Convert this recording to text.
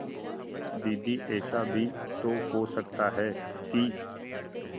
दीदी ऐसा भी तो हो सकता है कि